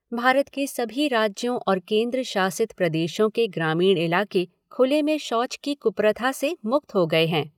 भारत के सभी राज्यों और केन्द्र शासित प्रदेशों के ग्रामीण इलाके खुले में शौच की कुप्रथा से मुक्त हो गए हैं।